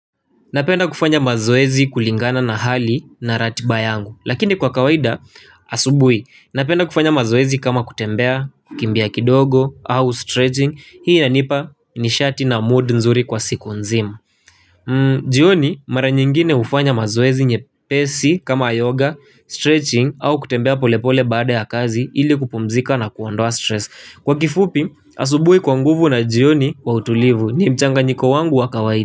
Napenda kufanya mazoezi kulingana na hali na ratiba yangu Lakini kwa kawaida asubui Napenda kufanya mazoezi kama kutembea kimbia kidogo au stretching Hii inanipa ni shati na mood nzuri kwa siku nzimu jioni mara nyingine ufanya mazoezi nye pesi kama yoga, stretching au kutembea polepole baada ya kazi ili kupmzika na kuandua stress Kwa kifupi asubui kwa nguvu na jioni kwa utulivu ni mchanga niko wangu wa kawaida.